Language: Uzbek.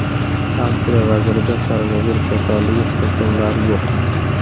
Avstriya vazirida koronavirus kasalligi simptomlari yo‘q.